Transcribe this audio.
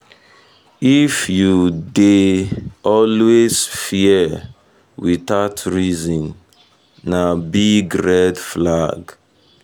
if you dey you dey always fear fear without reason na big red flag.